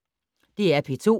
DR P2